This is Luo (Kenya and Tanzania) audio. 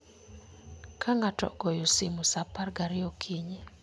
Ka ng'ato ogoyo simo sa apar gariyo okinyi